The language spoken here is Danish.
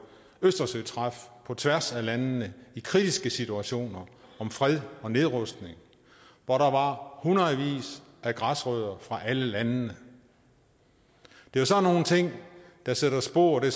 østersøtræf på tværs af landene i kritiske situationer om fred og nedrustning hvor der var hundredvis af græsrødder fra alle landene det er sådan nogle ting der sætter spor det